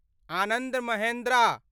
Anand Mahindra